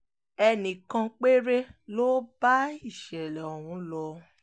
ẹnì kan péré ló bá ìṣẹ̀lẹ̀ ọ̀hún lọ